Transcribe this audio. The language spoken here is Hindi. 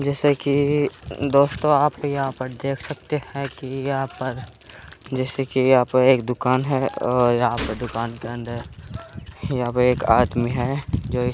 जैसे की दोस्तों आप यहाँ पर देख सकते हैं की यहाँ पर जैसे की यहाँ पर एक दूकान है और यहाँ पर दूकान के अंदर यहाँ पे एक आदमी है जो --